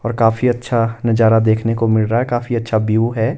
और काफी अच्छा नजारा देखने को मिल रहा है काफी अच्छा व्यू है।